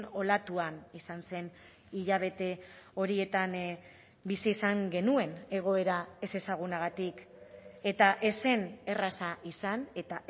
olatuan izan zen hilabete horietan bizi izan genuen egoera ezezagunagatik eta ez zen erraza izan eta